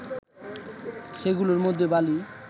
সেগুলোর মধ্যে বালি